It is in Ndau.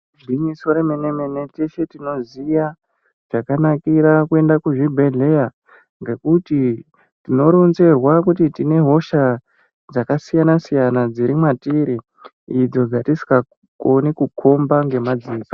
Igwinyiso remene-mene teshe tinoziya zvakanakira kuenda kuzvibhedhleya ngekuti tinoronzerwa kuti tine hosha dzakasiyana -siyana dziri mwatiri idzo dzatisikakoni kukhomba ngemadziso.